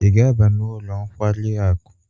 Ị ga-aba n'ụlọ nkwari akụ?